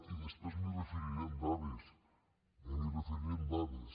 i després m’hi referiré amb dades eh m’hi referiré amb dades